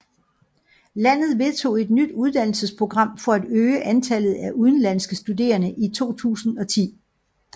Landet vedtog et nyt uddannelsesprogram for at øge antallet af udenlandske studerende i 2010